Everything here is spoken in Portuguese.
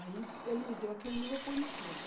Aí ele me deu aquele livro eu pus no canto.